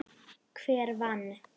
Hver vann?